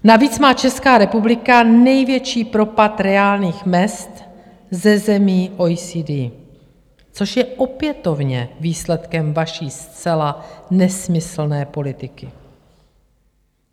Navíc má Česká republika největší propad reálných mezd ze zemí OECD, což je opětovně výsledkem vaší zcela nesmyslné politiky.